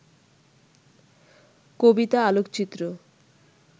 কবিতা, আলোকচিত্র